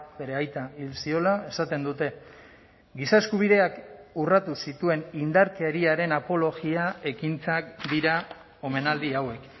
bere aita hil ziola esaten dute giza eskubideak urratu zituen indarkeriaren apologia ekintzak dira omenaldi hauek